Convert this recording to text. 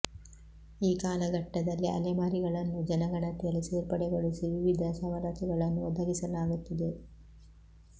ಈ ಕಾಲಘಟ್ಟದಲ್ಲಿ ಅಲೆ ಮಾರಿಗಳನ್ನೂ ಜನಗಣತಿಯಲ್ಲಿ ಸೇರ್ಪಡೆಗೊಳಿಸಿ ವಿವಿಧ ಸವಲತು ಗಳನ್ನು ಒದಗಿಸಲಾಗುತ್ತಿದೆ